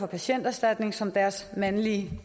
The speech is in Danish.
patienterstatning som deres mandlige